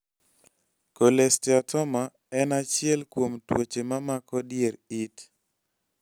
cholesteatoma en achiel kuom tuoche mamako dier it